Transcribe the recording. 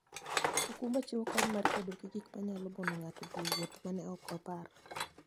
okumba chiwo kony mar kedo gi gik manyalo mono ng'ato dhi e wuoth ma ne ok opar.